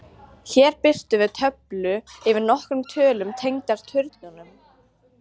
Hér birtum við töflu yfir nokkrar tölur tengdar turnunum: